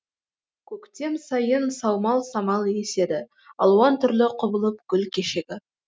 көктем сайын саумал самал еседі алуан түрлі құбылып гүл шешегі